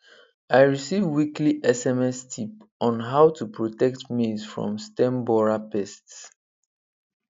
i receive weekly sms tip on how to protect maize from stem borer pests